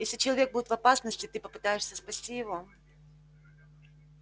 если человек будет в опасности ты попытаешься спасти его